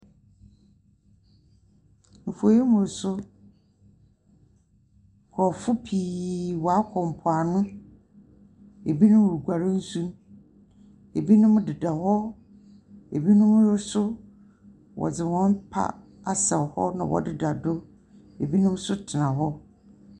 Mfonyin yi mu nso nkurɔfo pii wɔakɔ mpoano. Binom reguar nsu. Binom deda hɔ deda hɔ. Binom nso wɔdze hɔn pad asɛ hɔ na wɔdeda do. Binom nso tsena hɔ.